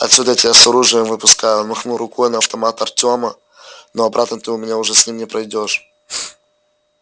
отсюда я тебя с оружием выпускаю он махнул рукой на автомат артема но обратно ты у меня уже с ним не пройдёшь